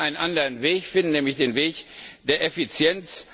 Wir müssen einen anderen Weg finden, nämlich den Weg der Effizienz.